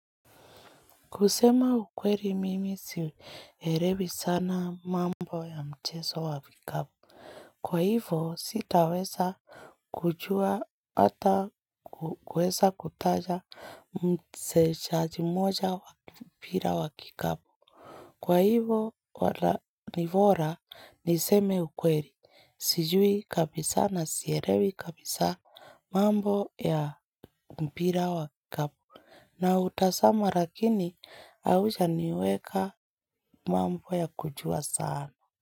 Kusema ukweli mimi sielewi sana mambo ya mchezo wa kikapu Kwa hivo sitaweza kujua ata kuweza kutaja mchezaji mmoja wa mpira wa kikapu. Kwa hivo nibora niseme ukweli. Sijui kabisa na sielewi kabisa mambo ya mpira wa kikapu Nautazama lakini haujaniweka mambo ya kujua sana.